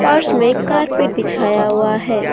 फर्श में कारपेट बिछाया हुआ है।